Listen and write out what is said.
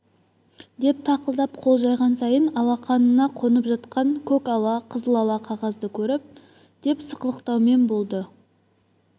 деп тақылдап қол жайған сайын алақанына қонып жатқан көк ала қызыл ала қағазды көріп деп сықылықтаумен болды